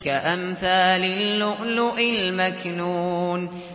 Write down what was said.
كَأَمْثَالِ اللُّؤْلُؤِ الْمَكْنُونِ